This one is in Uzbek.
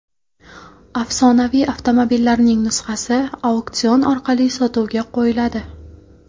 Afsonaviy avtomobillarning nusxasi auksion orqali sotuvga qo‘yiladi.